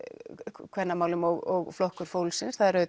kvennamálum og Flokkur fólksins það er